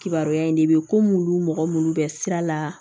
Kibaruya in de bɛ komi olu mɔgɔ minnu bɛ sira la